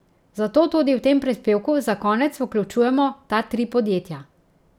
Zato tudi v tem prispevku za konec vključujemo ta tri podjetja.